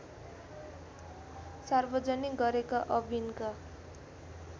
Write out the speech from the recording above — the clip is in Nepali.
सार्वजनिक गरेका अविनका